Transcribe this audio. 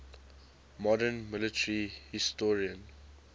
modern military historian